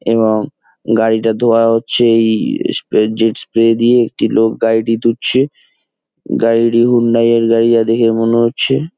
এবং গাড়িটা ধোয়া হচ্ছে এই ই স্প্রে জেট স্প্রে দিয়ে। একটি লোক গাড়িটি ধুচ্ছে। গাড়িটি হুন্ডাই এর গাড়ি যা দেখে মনে হচ্ছে--